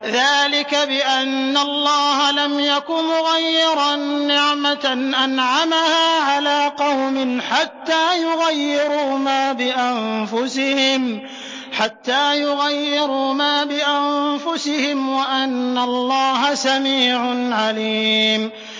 ذَٰلِكَ بِأَنَّ اللَّهَ لَمْ يَكُ مُغَيِّرًا نِّعْمَةً أَنْعَمَهَا عَلَىٰ قَوْمٍ حَتَّىٰ يُغَيِّرُوا مَا بِأَنفُسِهِمْ ۙ وَأَنَّ اللَّهَ سَمِيعٌ عَلِيمٌ